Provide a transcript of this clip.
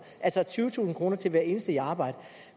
altså tyvetusind kroner til hver eneste i arbejde